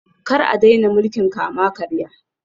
Kar a daina mulkin kama-karya